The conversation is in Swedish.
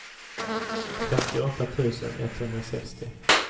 femtioåtta tusen etthundrasextio